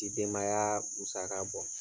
K'i denbaya musaka bɔ.